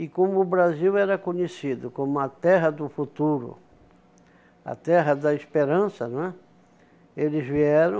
E como o Brasil era conhecido como a terra do futuro, a terra da esperança, não é, eles vieram